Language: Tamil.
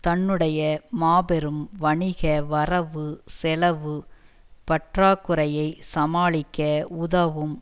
தன்னுடைய மாபெரும் வணிக வரவு செலவுப் பற்றாக்குறையைச் சமாளிக்க உதவும்